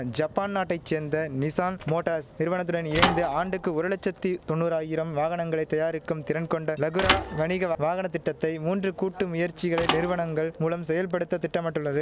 Japan நாட்டை சேந்த Nissan Motors நிறுவனத்துடன் இணைந்து ஆண்டுக்கு ஒரு லட்சத்தி தொன்னூராயிரம் வாகனங்களை தயாரிக்கும் திறன்கொண்ட லகுரா வணிக வாகன திட்டத்தை மூன்று கூட்டு முயற்சிகளை நிறுவனங்கள் மூலம் செயல்படுத்த திட்டமிட்டுள்ளது